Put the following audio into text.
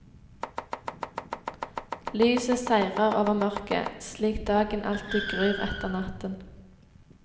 Lyset seirer over mørket, slik dagen alltid gryr etter natten.